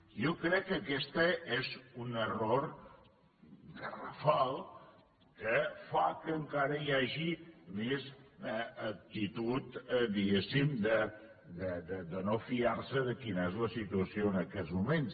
jo crec que aquest és un error garrafal que fa que encara hi hagi més actitud diguéssim de no fiar se de quina és la situació en aquests moments